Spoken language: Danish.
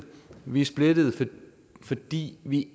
vi er splittede fordi vi